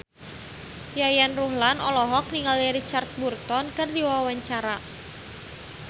Yayan Ruhlan olohok ningali Richard Burton keur diwawancara